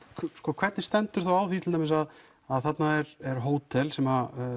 hvernig stendur á því þá til dæmis að þarna er hótel sem